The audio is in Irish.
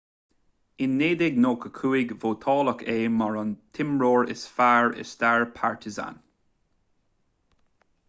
in 1995 vótáladh é mar an t-imreoir is fearr i stair partizan